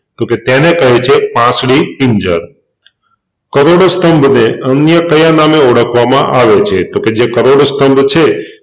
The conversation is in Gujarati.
તોકે તેને કહે છે પાંસળી પિંજર કરોડસ્તંભને અન્ય કયા નામે ઓળખવામાં આવે છે તોકે જે કરોડ સ્તંભ છે